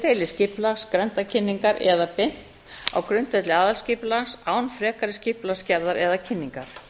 deiliskipulags grenndarkynningar eða beint á grundvelli aðalskipulags án frekari skipulagsgerðar eða kynningar